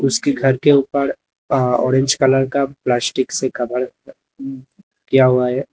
उसके घर के ऊपर अ ऑरेंज कलर का प्लास्टिक से कवर किया हुआ है।